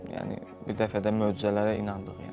Yəni bir dəfə də möcüzələrə inandıq yəni.